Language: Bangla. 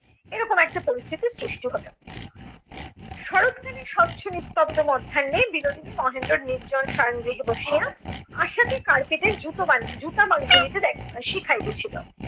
এরকম একটা পরিস্থিতির সৃষ্টি হল। শরতকালের স্বচ্ছ নিস্তব্ধ মধ্যাহ্নে বিনোদিনী মহেন্দ্রের নির্জন শয়ন গৃহে বসিয়া আশাকে carpet এ জুতো বা~ জুতা বুনিতে শিখাইতেছিল।